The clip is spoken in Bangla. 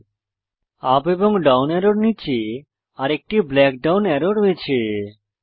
ইউপি এবং ডাউন অ্যারোর নীচে আরেকটি ব্ল্যাক ডাউন টেক্সচার অ্যারো রয়েছে